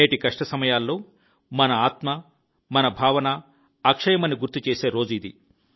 నేటి కష్ట సమయాల్లో మన ఆత్మ మన భావన అక్షయమని గుర్తుచేసే రోజు ఇది